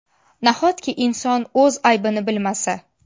Nahotki inson o‘z aybini bilmasa.